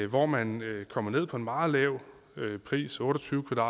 hvor man kommer ned på en meget lav pris otte og tyve